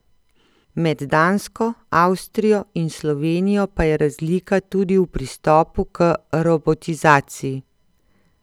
Med Dansko, Avstrijo in Slovenijo pa je razlika tudi v pristopu k robotizaciji.